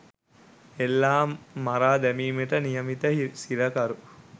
එල්ලා මරා දැමීමට නියමිත සිරකරු